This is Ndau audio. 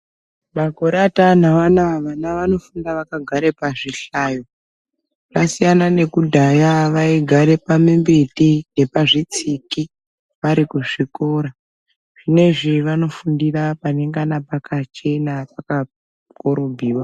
Makote ataanawo anaya vana vanofunda vagare pazvihlayo. Zvasiyana nekudhaya vaigare pamimbiti yepazvitsiki vari kuzvikora. Zvinezvi vanofundira panengana pakachena pakakorobhiwa.